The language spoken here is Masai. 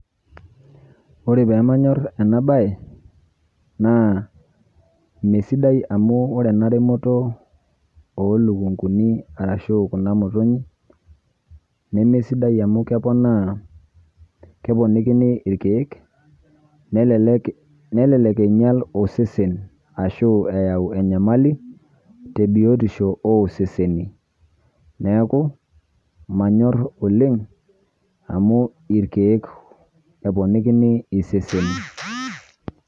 Ore pamanyor enabae, naa mesidai amu ore ena remoto olukunkuni arashu kuna motinyik, nemesidai amu keponaa, keponikini irkeek, nelelek einyal osesen ashu eyau enyamali, tebiotisho oseseni. Neeku, manyor oleng, amu irkeek eponikini iseseni.